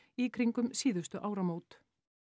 í kringum síðustu áramót